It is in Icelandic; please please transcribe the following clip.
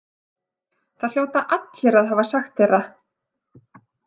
Það hljóta allir að hafa sagt þér það.